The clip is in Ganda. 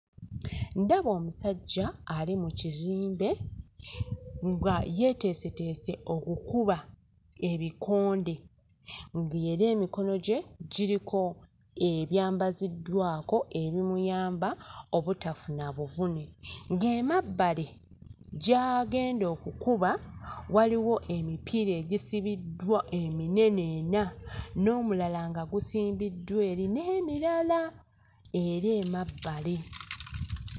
Ndaba omusajja ali mu kizimbe nga yeeteeseteese okukuba ebikonde ng'era emikono gye giriko ebyambaziddwako ebimuyamba obutafuna buvune ng'emabbali gy'agenda okukuba waliwo emipiira egisibiddwa eminene ena n'omulala nga gusimbiddwa eri n'emirala, era emabbali.